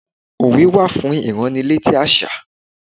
Òwe wá fún ìránnilétí àṣà.